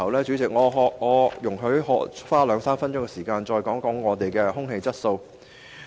主席，容許我花兩三分鐘時間談談另一個環保範疇：空氣質素。